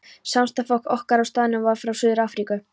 Samstarfsfólk okkar á staðnum var frá Suður-Afríku.